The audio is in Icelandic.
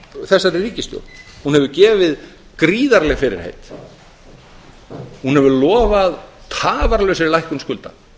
þessari ríkisstjórn hún hefur gefið gríðarleg fyrirheit hún hefur lofað tafarlausri lækkun skulda